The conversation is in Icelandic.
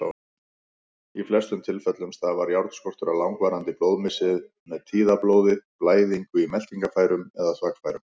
Í flestum tilfellum stafar járnskortur af langvarandi blóðmissi, með tíðablóði, blæðingu í meltingarfærum eða þvagfærum.